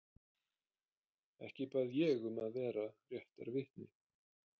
Ekki bað ég um að vera réttarvitni.